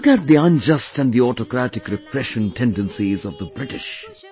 Look at the unjust and the autocratic repression tendencies of the British